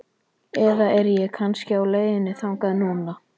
Eða er ég kannski á leiðinni þangað núna?